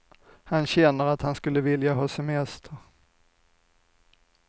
Han känner att han skulle vilja ha semester.